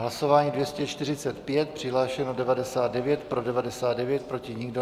Hlasování 245, přihlášeno 99, pro 99, proti nikdo.